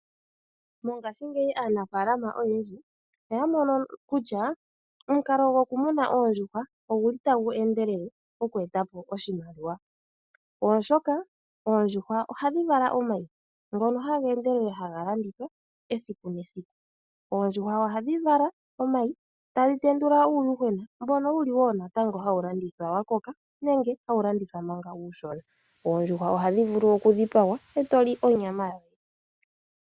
Mongashingeyi aanafalama oyendji oya mono kutya omukalo gwokumuna oondjuhwa oguli tagu endelele moku eta po oshimaliwa, oshoka oondjuhwa ohadhi vala omayi ngono haga endelele haga landithwa esiku nesiku. Oondjuhwa ohadhi vala omayi, tadhi tendula uuyuhwena, mbono wuli wo natango hawu landithwa wa koka nenge hawu landithwa manga uushona. Oondjuhwa ohadhi vulu okudhipagwa eto li onyama yadho.